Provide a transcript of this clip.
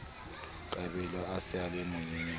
kabelo a sa le monyenyane